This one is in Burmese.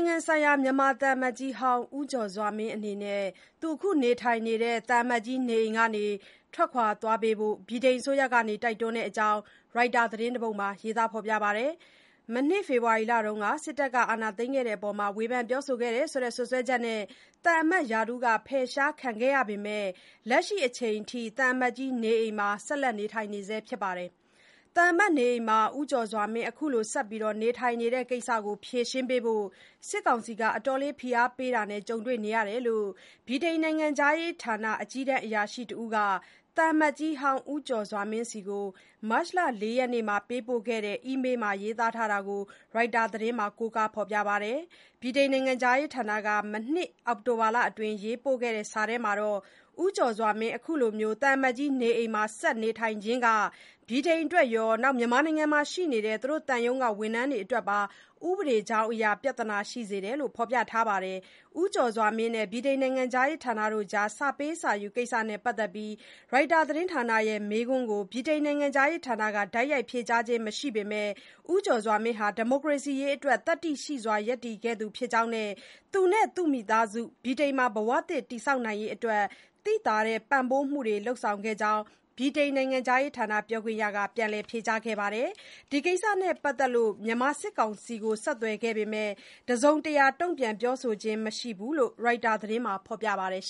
င်ငံဆိုင်ရာ မြန်မာသံအမတ်ကြီးဟောင်း ဦးကျော်စွာမင်းအနေနဲ့ သူအခုနေထိုင်နေတဲ့ သံအမတ်ကြီး နေအိမ်ကနေ ထွက်သွားပေးဖို့ ဗြိတိန်အစိုးရက တိုက်တွန်းထားတဲ့အကြောင်း ရိုက်တာသတင်းတပုဒ်မှာ ရေးထားပါတယ်။ မနှစ် ဖေဖော်ဝါရီလမှာ စစ်တပ်က အာဏာသိမ်းခဲ့တဲ့အပေါ် ဝေဖန်ပြောဆိုခဲ့တယ်ဆိုတဲ့ စွပ်စွဲချက်နဲ့ သံအမတ်ရာထူးက ဖယ်ရှားခံခဲ့ရပေမယ့် လက်ရှိအချိန်အထိ သံအမတ်ကြီးနေအိမ်မှာ ဆက်လက် နေထိုင်နေဆဲဖြစ်ပါတယ်။ သံအမတ်နေအိမ်မှာ ဦးကျော်စွာမင်း အခုလို ဆက်နေထိုင်နေတဲ့ကိစ္စကို ဖြေရှင်းပေးဖို့ စစ်ကောင်စီက အတော်လေး ဖိအားပေးတာနဲ့ ကြုံတွေ့နေရတယ်လို့ ဗြိတိသျှနိုင်ငံခြားရေးဌာန အကြီးတန်းအရာရှိတဦးက သံအမတ်ကြီးဟောင်း ဦးကျော်စွာမင်းဆီ မတ်လ ၄ ရက်နေ့မှာပေးပို့ခဲ့တဲ့ အီးမေးလ်ထဲမှာရေးထားတာကို ရိုက်တာသတင်းမှာ ကိုးကားဖော်ပြထားပါတယ်။ ဗြိတိန် နိုင်ငံခြားရေးဌာနက မနှစ် အောက်တိုဘာလအတွင်း ရေးပို့ခဲ့တဲ့ စာထဲမှာတော့ ဦးကျော်စွာမင်း အခုလို သံအမတ်ကြီးနေအိမ်မှာ ဆက်နေထိုင်ခြင်းက ဗြိတိန်အတွက်ရော မြန်မာနိုင်ငံမှာရှိနေတဲ့ သူတို့သံရုံးက ဝန်ထမ်းတွေအတွက်ပါ ဥပဒေကြောင်းအရ ပြဿနာရှိစေတယ်လို့ ဖော်ပြထားပါတယ်။ ဦးကျော်စွာမင်းနဲ့ ဗြိတိန်နိုင်ငံခြားရေးဌာနကြား စာပေးစာယူကိစ္စနဲ့ပတ်သက်လို့ ရိုက်တာသတင်းဌာနရဲ့မေးခွန်းကို ဗြိတိန်နိုင်ငံခြားရေးဌာနက တိုက်ရိုက်ဖြေကြားခြင်းမရှိပေမယ့် ဦးကျော်စွာမင်းဟာ ဒီမိုကရေစီရေးအတွက် သတ္တိရှိစွာ ရပ်တည်ခဲ့သူဖြစ်ကြောင်းနဲ့ သူနဲ့ သူ့မိသားစု ဗြိတိန်မှာ ဘဝသစ် တည်ဆောက်နိုင်ရေးအတွက် သိသာတဲ့ ပံ့ပိုးပေးမှုတွေ လုပ်ဆောင်ခဲ့ကြောင်း ဗြိတိန် နိုင်ငံခြားရေးဌာန ပြောခွင့်ရက ပြန်လည် ဖြေကြားခဲ့ပါတယ်။ ဒီကိစ္စနဲ့ပတ်သက်လို့ မြန်မာစစ်ကောင်စီကို ဆက်သွယ်ခဲ့ပေမယ့် တစုံတရာ တုံ့ပြန် ပြောဆိုခြင်း မရှိဘူးလို့ ရိုက်တာသတင်းမှာ ရေးထားပါတယ်။